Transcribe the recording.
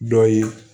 Dɔ ye